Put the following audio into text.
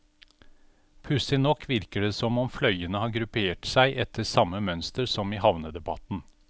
Pussig nok virker det som om fløyene har gruppert seg etter samme mønster som i havnedebatten.